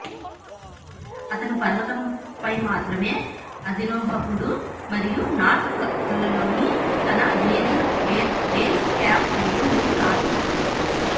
అతను పర్వతంపై మాత్రమే అధిరోహకుడు మరియు నార్త్ కల్లోని తన అధినేత బేస్ క్యాంప్ పైన మూడు రాత్రులు గడిపాడు